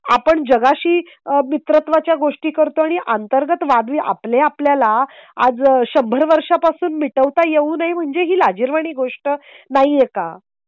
आपण जगाशी मित्रत्वाच्या गोष्टी करतो आणि अंतर्गत वाद ही आपले आपल्याला आज शंभर वर्षा पासून मिटवता येऊ नये. म्हणजे ही लाजिरवाणी गोष्ट नाहीये का?